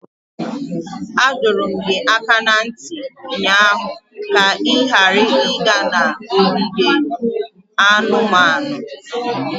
Adọrum gị aka na ntị ụnyaahụ ka ị ghara ịga ogige anumanu!